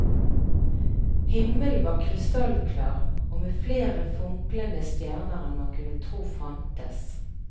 Himmelen var krystallklar og med flere funklende stjerner enn man kunne tro fantes.